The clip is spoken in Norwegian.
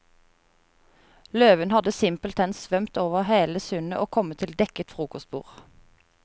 Løven hadde simpelthen svømt over hele sundet og kommet til dekket frokostbord.